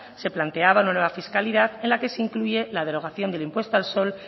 se planteaba una nueva fiscalidad en la que se incluye la derogación del impuesto al sol